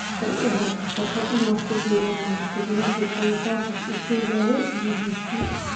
"Waxaa ii ah farxad inaan ku biiro Manchester United," ayuu Sanchez u sheegay BBC.